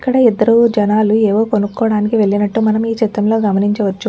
ఇక్కడ ఇద్దరు జన్నాలు ఏవో కొనుకూడానికి వెళ్లినట్టు మనం ఈ చిత్రంలో గమనించవచ్చు.